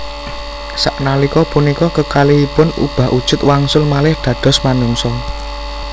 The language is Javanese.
Saknalika punika kekalihipun ubah ujud wangsul malih dados manungsa